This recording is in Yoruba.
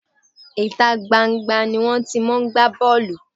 Ìta gban-an gban-an ni wón ti máa ń gbá bọ́ọ̀lù.